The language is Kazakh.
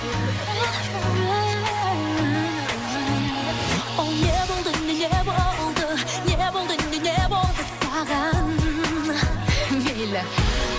ол не болды не не болды не болды не не болды саған мейлі